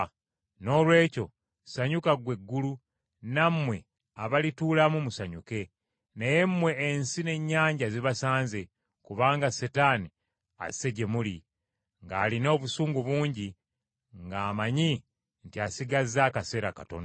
Noolwekyo ssanyuka ggwe eggulu, nammwe abalituulamu musanyuke. Naye mmwe ensi n’ennyanja zibasanze, kubanga Setaani asse gye muli ng’alina obusungu bungi, ng’amanyi nti asigazza akaseera katono.”